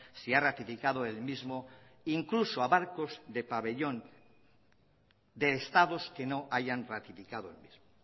si ha ratificado el mismo incluso a barcos de pabellón de estados que no hayan ratificado el mismo